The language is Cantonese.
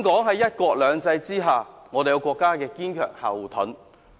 在"一國兩制"下，香港有國家作為堅強後盾。